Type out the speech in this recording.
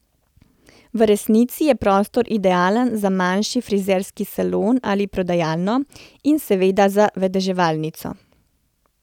V resnici je prostor idealen za manjši frizerski salon ali prodajalno, in seveda za vedeževalnico.